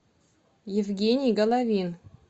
евгений головин